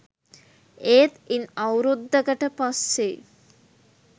ඒත් ඉන් අවුරුද්දකට පස්සෙ